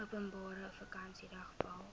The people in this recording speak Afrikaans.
openbare vakansiedag val